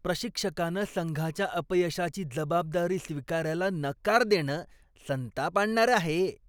प्रशिक्षकानं संघाच्या अपयशाची जबाबदारी स्वीकारायला नकार देणं संताप आणणारं आहे.